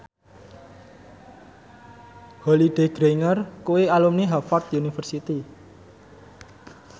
Holliday Grainger kuwi alumni Harvard university